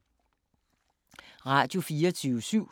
Radio24syv